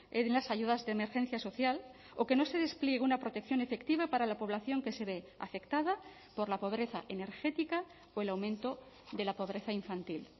en las ayudas de emergencia social o que no se despliegue una protección efectiva para la población que se ve afectada por la pobreza energética o el aumento de la pobreza infantil